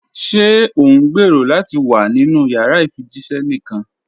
Ṣé o ǹgbẹ́rọ̀ lati wà nínu yàrà ifíjìṣẹ̀ níkan?